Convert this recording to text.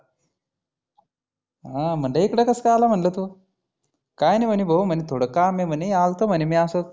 हं म्हटलं इकडं कस काय आला म्हटलं तु? काय नाही म्हणी भाऊ थोड काम आहे म्हणी आलतो म्हणी आसचं.